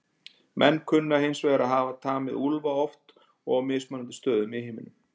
Menn kunna hins vegar að hafa tamið úlfa oft og á mismunandi stöðum í heiminum.